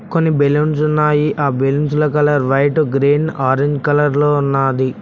కొన్ని బెలూన్స్ ఉన్నాయి ఆ బెలున్స్ల colour white green orange colour లో ఉన్నాది.